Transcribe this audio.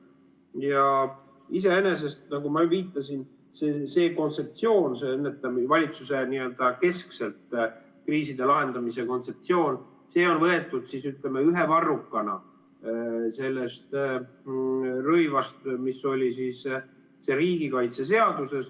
Ja iseenesest, nagu ma viitasin, siin see kontseptsioon, n-ö valitsusekeskne kriiside lahendamise kontseptsioon, on võetud, ütleme, ühe varrukana sellest rõivast, mis oli see riigikaitseseadus.